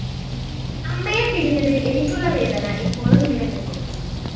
അമ്മയെ പിരിഞ്ഞതില്‍ എനിക്കുള്ള വേദന ഇപ്പോഴും നിലനില്‍ക്കുന്നു